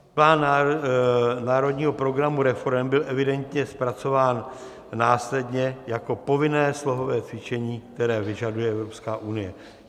Plán Národního programu reforem byl evidentně zpracován následně jako povinné slohové cvičení, které vyžaduje Evropská unie.